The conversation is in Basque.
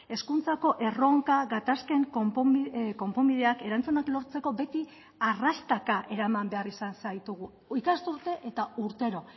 hezkuntzako erronka gatazken konponbideak erantzunak lortzeko beti arrastaka eraman behar izan zaitugu ikasturte eta urtero